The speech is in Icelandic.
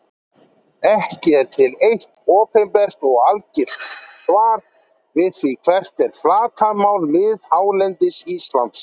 Ekki er til eitt opinbert og algilt svar við því hvert er flatarmál miðhálendis Íslands.